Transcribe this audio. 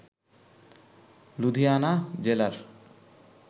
লুধিয়ানা জেলার